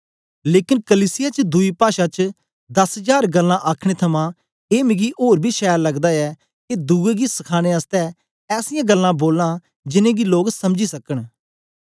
लेकन कलीसिया च दुई पाषा च दस जार गल्लां आखने थमां ए मिगी ओर बी छैल लगदा ऐ के दुए गी सखाने आसतै ऐसीयां गल्लां बोलां जिनेंगी लोक समझी सकन